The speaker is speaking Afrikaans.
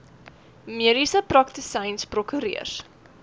mediese praktisyns prokureurs